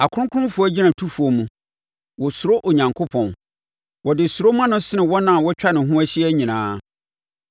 Akronkronfoɔ agyinatufoɔ mu, wosuro Onyankopɔn; wɔde suro ma no sene wɔn a wotwa ne ho hyia nyinaa.